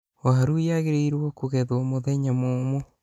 Waru yagĩrĩirwo kũgethwo mũthenya mũũmũ.